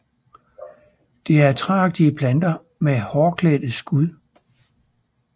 Det er træagtige planter med hårklædte skud